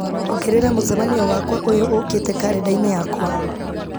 ongerera mũcemanio wakwa ũyũ ũũkĩte karenda-inĩ yakwa